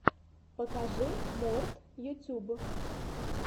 покажи морт ютьюб